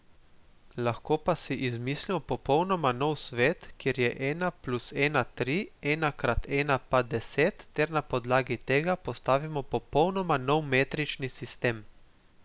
Lahko pa si izmislimo popolnoma nov svet, kjer je ena plus ena tri, ena krat ena pa deset ter na podlagi tega postavimo popolnoma nov metrični sistem.